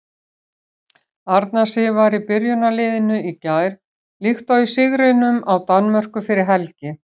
Arna Sif var í byrjunarliðinu í gær líkt og í sigrinum á Danmörku fyrir helgi.